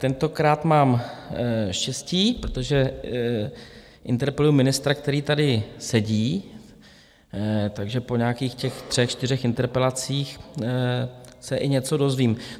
Tentokrát mám štěstí, protože interpeluji ministra, který tady sedí, takže po nějakých těch třech, čtyřech interpelacích se i něco dozvím.